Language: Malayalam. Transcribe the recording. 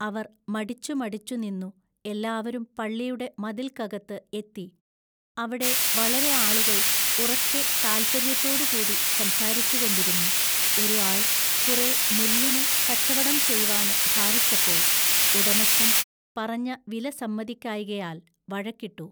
അവർ മടിച്ചു മടിച്ചുനിന്നു എല്ലാവരും പള്ളിയുടെ മതില്ക്കകത്തു എത്തി അവിടെ വളരെ ആളുകൾ ഉറക്കെ താല്പൎയ്യത്തോടു കൂടി സംസാരിച്ചുകൊണ്ടിരുന്നു ഒരു ആൾ കുറെ നെല്ലിന് കച്ചവടം ചെയ്‌വാൻ ഭാവിച്ചപ്പോൾ ഉടമസ്ഥൻ, പറഞ്ഞ വിലസമ്മതിക്കായ്കയാൽ വഴക്കിട്ടു.